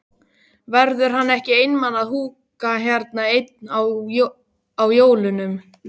Verður hann ekki einmana að húka hérna einn á jólunum?